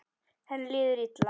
Henni líður illa.